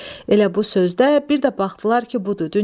Elə bu sözdə bir də baxdılar ki, budur.